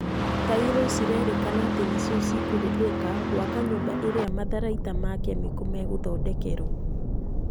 Tairo cirerĩkana atĩ nĩ cioikũhũthĩka gwaka nyũmba ĩrĩa matharaita ma kemiko megũthondekerwo.